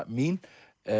mín